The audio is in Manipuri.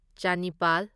ꯆꯅꯤꯄꯥꯜ